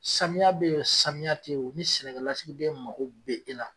Samiya be yen o samiya te yen o, ni sɛnɛkɛlasigiden be yen mago e la.